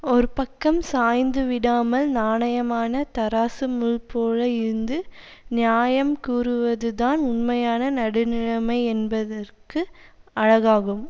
ஒரு பக்கம் சாய்ந்து விடாமல் நாணயமான தாரசு முள் போல இருந்து நியாயம் கூறுவதுதான் உண்மையான நடுநிலைமை என்பதற்கு அழகாகும்